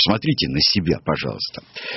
смотрите на себя пожалуйста